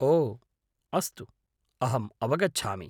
ओ अस्तु, अहम् अवगच्छामि।